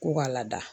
K'u ka laada